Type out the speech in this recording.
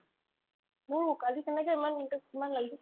মোৰো কালি তেনেকে ইমান মূৰতোত ইমান লাগিছে